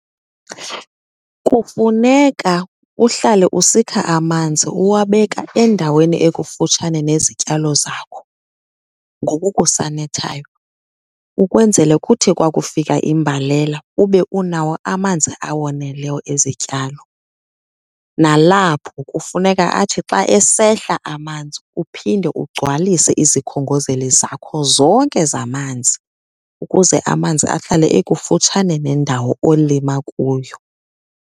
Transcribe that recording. Kufuneka uhlale usikha amanzi uwabeka endaweni ekufutshane nezityalo zakho ngoku kusanethayo ukwenzele kuthi kwakufika imbalela ube unawo amanzi awoneleyo ezityalo. Nalapho kufuneka athi xa esehla amanzi uphinde ugcwalise izikhongozeli zakho zonke zamanzi ukuze amanzi ahlale ekufutshane nendawo olima kuyo.